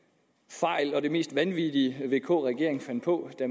fejl og det mest vanvittige vk regeringen fandt på da